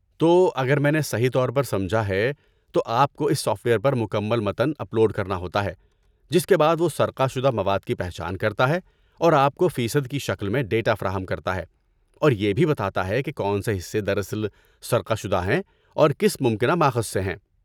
تو، اگر میں نے صحیح طور پر سمجھا ہے تو، آپ کو اس سافٹ ویئر پر مکمل متن اپلوڈ کرنا ہوتا ہے، جس کے بعد وہ سرقہ شدہ مواد کی پہچان کرتا ہے اور آپ کو فیصد کی شکل میں ڈیٹا فراہم کرتا ہے، اور یہ بھی بتاتا ہے کہ کون سے حصے دراصل سرقہ شدہ ہیں اور کس ممکنہ ماخذ سے ہیں۔